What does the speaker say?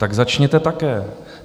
Tak začněte také.